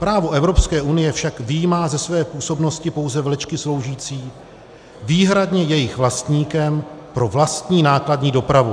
Právo Evropské unie však vyjímá ze své působnosti pouze vlečky sloužící výhradně jejich vlastníkům pro vlastní nákladní dopravu.